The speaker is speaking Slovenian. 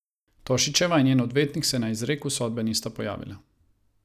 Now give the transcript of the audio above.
Tošićeva in njen odvetnik se na izreku sodbe nista pojavila.